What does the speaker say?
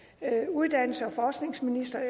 uddannelses og forskningsministeren